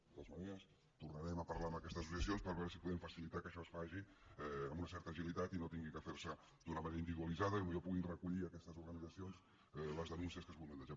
de totes maneres tornarem a parlar amb aquestes associacions per veure si podem facilitar que això es faci amb una certa agilitat i no hagi de fer se d’una manera individualitzada i potser poden recollir aquestes organitzacions les denúncies que es vulguin deixar